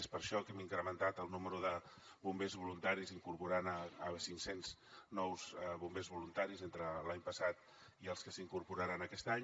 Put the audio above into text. és per això que hem incrementat el nombre de bombers voluntaris incorporant cinccents nous bombers voluntaris entre l’any passat i els que s’incorporaran aquest any